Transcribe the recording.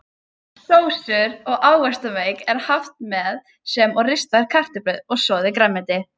Sósur og ávaxtamauk er haft með sem og ristaðar kartöflur og soðið grænmeti.